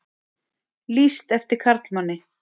Lýst eftir karlmanni